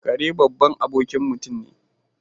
Kare babban abokin mutum ne.